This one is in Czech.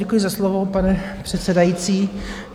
Děkuji za slovo, pane předsedající.